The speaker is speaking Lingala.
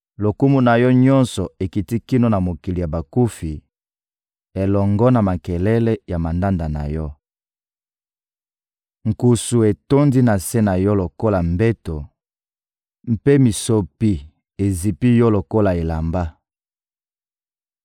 Lokumu na yo nyonso ekiti kino na mokili ya bakufi, elongo na makelele ya mandanda na yo. Nkusu etondi na se na yo lokola mbeto, mpe mitsopi ezipi yo lokola elamba.